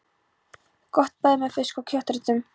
Gott bæði með fisk- og kjötréttum.